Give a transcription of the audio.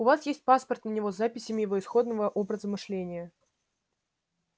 у вас есть паспорт на него с записями его исходного образа мышления